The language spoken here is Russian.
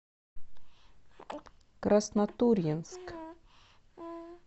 краснотурьинск